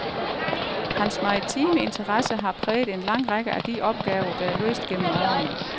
Hans maritime interesse har præget en lang række af de opgaver, der er løst gennem årene.